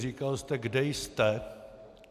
Říkal jste: "Kde jste?